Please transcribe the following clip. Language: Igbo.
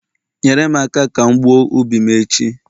nyere m aka ka m gbuo ubi m echi